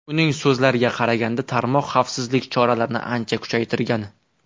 Uning so‘zlariga qaraganda, tarmoq xavfsizlik choralarini ancha kuchaytirgan.